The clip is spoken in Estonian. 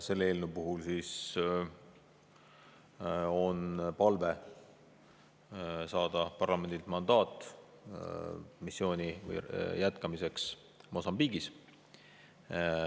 Selle eelnõu puhul on palve saada parlamendilt mandaat missiooni jätkamiseks Mosambiigis.